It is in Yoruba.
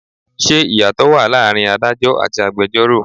Ṣé ìyàtò wá láàárín Ádájọ́ àti agbẹjoro?